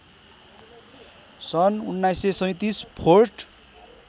सन् १९३७ फोर्ट